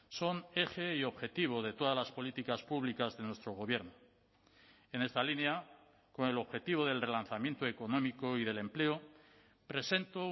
son eje y objetivo de todas las políticas públicas de nuestro gobierno en esta línea con el objetivo del relanzamiento económico y del empleo presento